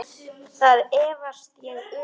Það efast ég um.